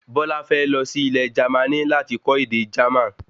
Bola fẹ lọ sí Ilẹ̀ Jermani láti lọ kọ́ ède Jerman